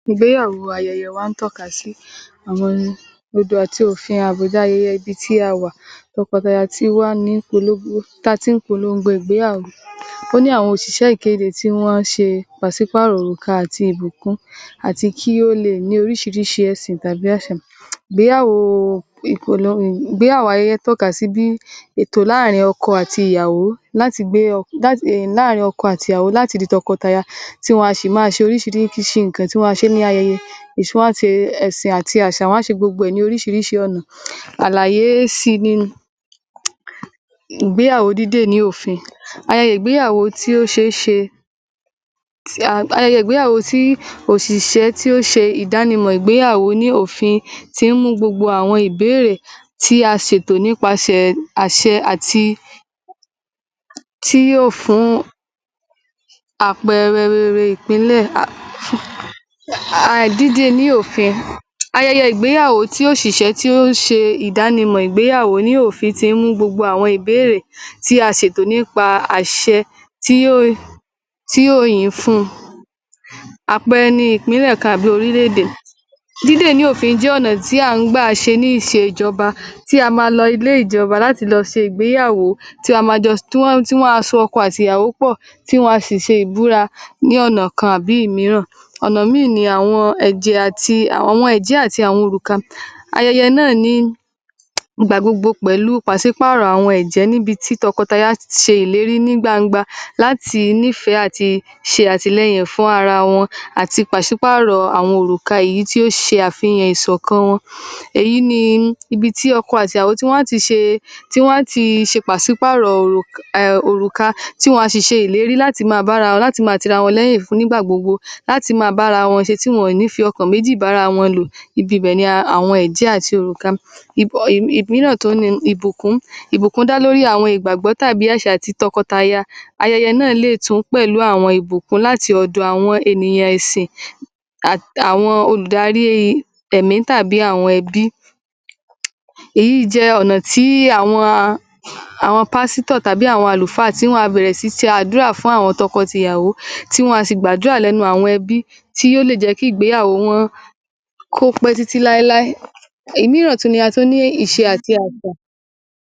Ìgbéyàwó ayẹyẹ wa ń tọ́ka sí àwọn odò àti òfin àbùdá ayẹyẹ ibi tí a wà. Tọkọ àtaya tí wá ní pológó...tá a ti ń polongo ìgbéyàwó. Ó ní àwọn òṣìṣẹ́ ìkéde tí wọ́n á ṣe pàsípààrọ̀ òrùka àti ìbùkún àti kí ó lè ní oríṣiríṣi ẹ̀sìn tàbí àṣà. Ìgbéyàwóó ayẹyẹ ń tọ́ka sí bí ètò láàrin ọkọ àti ìyàwó láti gbé...[um]...láàrin ọkọ àti ìyàwó láti di tọkọtaya, tí wọn a sì máa ṣe oríṣiríṣi...ki...nǹkan tí a wọ̀n ní ayẹyẹ. um wọ́n á ṣe ẹ̀sìn àti àṣà, wọ́n á ṣe gbogbo ẹ̀ ní oríṣiríṣi ọ̀nà. Alayé sí i ni um ìgbéyàwó dìde ní òfin. Ayẹyẹ ìgbéyàwó tí ó ṣeéṣe um ayẹyẹ ìgbéyàwó tí ọ́ṣìṣẹ́ tí ó ṣe ìdánimọ̀ ìgbéyàwó ní òfin tí ń mú gbogbo àwọn ìbéèrè tí a ṣetò nípasẹ̀ àṣẹ àti...tí yóò fún àpẹẹrẹ rere ìpínlẹ̀ um dídé e ní òfin. Ayẹyẹ ìgbéyàwó tí òṣìṣẹ́ tí ó ṣe ìdánimọ̀ ìgbéyàwó ní òfin tí mú gbogbo àwọn ìbéèrè tí a ṣetò nípa àṣẹ tí yó...tí yóò yín fún un. Àpẹẹrẹ ni ìpínlẹ̀ kan àbí orílẹ̀-èdè. Dídè ní òfin jẹ́ ọ̀nà tí à ń gbà ṣe ní ìṣe ìjọba tí a máa lọ ilé ìjọba láti lọ ṣe ìgbéyàwó tí a máa jọ s...tí wọn a s...tí wọ́n á so ọkọ àti ìyàwó pọ̀ tí wọn a sì se ìbúra ní ọ̀nà kan àbí ìmíràn. Ọ̀nà mìíìn àwọn ẹ̀jẹ̀...ẹ̀jẹ́ àti òrùka. Ayẹyẹ náà ní ìgbà gbogbo pẹ̀lú pàsípààrọ̀ àwọn ẹ̀jẹ́ níbi tí tọkọtaya ti ṣe ìlérí ní gbangba láti nífẹ̀ẹ́ àti ṣe àtìlẹyìn fún ara wọn àti pàsípààrọ̀ àwọn òrùka èyí tí ó ṣe àfihàn ìṣọ̀kan wọn. Èyí ni ibi tí ọkọ àti ìyàwó tí wọ́n a ti ṣe...tí wọ́n á tii pàsípààrọ̀ òrùk...[um]...òrùka tí wọn a sì ṣe ìlérí láti máa bára wọn láti máa tira wọn lẹ́yìn fún nígbà gbogbo, láti máa bára wọn ṣe tí wọ́n àn ní fi ọkàn méjì bára wọn lò, ibibẹ̀ ni um àwọn ẹ̀jẹ́ àti òrùka. um ìmíràn tún ni ìbùkún. Ìbùkún dá lórí àwọn ìgbàgbọ́ tàbí àṣà ti tọkọtaya. Ayẹyẹ náà lé è tún pẹ̀lú àwọn ìbùkún láti ọ̀dọ̀ àwọn ènìyàn ẹ̀sìn um àwọn olùdarí ẹ̀mí tàbí àwọn ẹbí. Èyí jẹ́ ọ̀nà tí àwọn... àwọn pásítọ̀ tàbí àwọn àlùfáà tí wọn a bẹ̀rẹ̀ sìí se àdúrà fún àwọn tọkọ àti ìyàwó tí wọn a sì gbàdúrà lẹ́nu àwọn ẹbí tí yó lè jẹ́ kí ìgbéyàwó wọn kó pẹ́ titi láéláé. Èmíràn tún ni a tún ní ìṣe àti àṣà